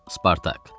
Spartak.